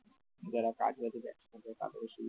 যারা কাজ করছিল একসাথে তাদের সুবিধা